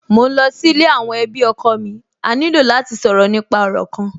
Mò ń lọ sí ilé àwọn ẹbí ọkọ mi, a ní lò láti sọ̀rọ̀ nípa òrò kan